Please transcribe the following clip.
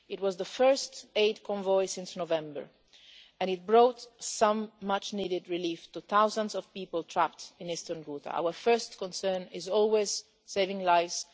It was the first aid convoy since November and it brought some much-needed relief to thousands of people trapped in eastern Ghouta. Our first concern is always saving lives